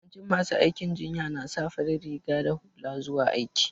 Yawancin masu aikin jinya na sa fari riga da hula zuwa aiki.